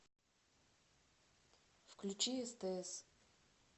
включи стс